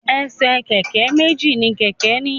Ẹsẹ̀ kẹ̀kẹ́ méjì ni kẹ̀kẹ́ ní.